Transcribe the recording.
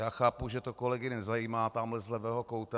Já chápu, že to kolegy nezajímá támhle z levého kouta.